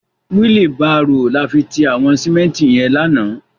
Wili bàró làfi ti àwòn simènti yèn làná